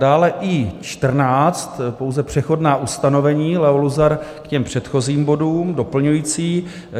Dále I14, pouze přechodná ustanovení, Leo Luzar, k těm předchozím bodům, doplňující.